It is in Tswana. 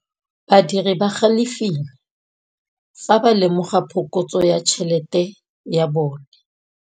Badiri ba galefile fa ba lemoga phokotsô ya tšhelête ya bone.